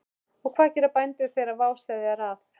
Og hvað gera bændur þegar vá steðjar að?